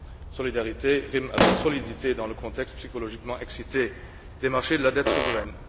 Solidarité rime avec solidité dans le contexte psychologiquement excité des marchés de la dette souveraine.